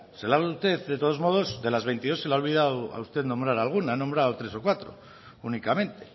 ustedes de todos modos de las veintidós se le ha olvidado a usted nombrar a alguna ha nombrado tres o cuatro únicamente